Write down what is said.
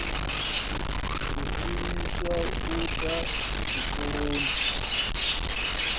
o imiswa u ḓa tshikoloni